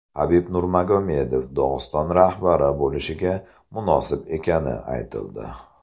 Habib Nurmagomedov Dog‘iston rahbari bo‘lishga munosib ekani aytildi.